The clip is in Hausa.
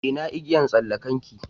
Ina igiyan tsallakan ki?